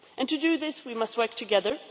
To do this, we must work together.